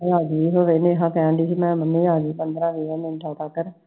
ਨੇਹਾ ਕਹਿਣ ਡੇਈ ਸੀ ਮੈਂ ਮੰਮੀ ਆ ਜਾਓ ਪੰਦਰ੍ਹਾਂ ਵੀਹਾਂ ਦਿਨਾਂ ਤਕਰl